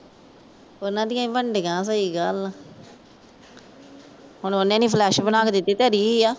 ਉਨ੍ਹਾਂ ਦੀਆਂ ਵੀ ਬਣਡਈਆਂ ਸਹੀ ਗੱਲ ਆ। ਹੁਣ ਉਹਨੇ ਨਹੀਂ ਫਲੱਸ ਬਣਾ ਕੇ ਦਿੱਤੀ। ਧਰੀ ਹੀ ਆ।